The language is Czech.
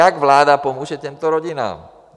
Jak vláda pomůže těmto rodinám?